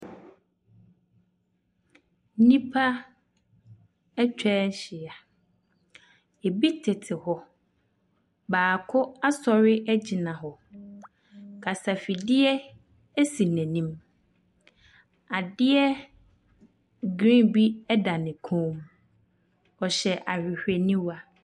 Nnipa atwa ahyia. Ebi tete hɔ. Baako asɔre agyina hɔ. Kasafidie si n'anim. Adeɛ green bi da ne kɔn mu. Ɔhyɛ hwehwɛniwa.